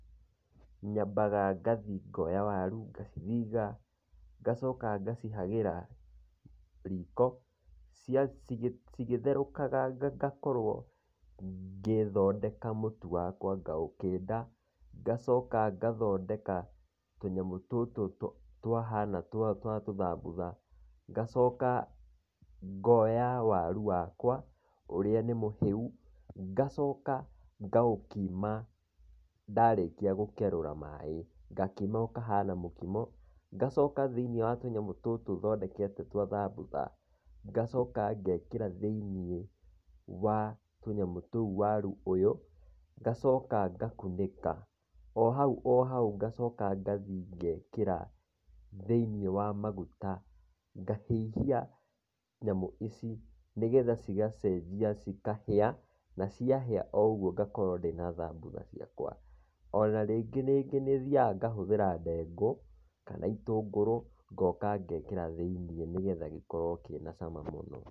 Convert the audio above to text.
Nyambaga ngathi ngoya waru ngacithiga, ngacoka ngacihagĩra riko cigethũrakaga ngakorwo ngĩthondeka mũtu wakwa ngaũkĩnda. Ngacoka ngathondeka tũnyamũ tũtũ twahana twa tũthambutha, ngacoka ngoya waru wakwa ũrĩa nĩ mũhĩu, ngacoka ngaũkima. Ndarĩkia gũkerũra maĩ ngakima ũkahana mũkimo, ngacoka thĩiniĩ wa tũnyamũ tũtũ thondekete twa thambutha, ngacoka ngekĩra thĩiniĩ wa tũnyamũ tũu waru ũyũ, ngacoka ngakunĩka. O hau o hau ngacoka ngathi ngekĩra thĩiniĩ wa maguta, ngahĩhia nyamũ ici nĩgetha cigacenjia cikahĩa na ciahĩa o ũguo ngakorwo ndĩna thambutha ciakwa. Ona rĩngĩ rĩngĩ nĩ thiaga ngahũthĩra ndengũ kana itũngũrũ ngoka ngekĩra thĩiniĩ nĩgetha gĩkorwo kĩna cama mũno.